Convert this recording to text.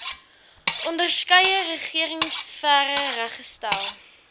onderskeie regeringsfere reggestel